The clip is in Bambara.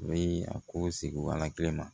U bɛ a ko sigi ala kelen ma